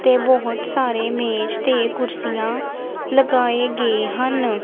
ਤੇ ਬਹੁਤ ਸਾਰੇ ਮੇਜ ਤੇ ਕੁਰਸੀਆਂ ਲਗਾਏ ਗਏ ਹਨ।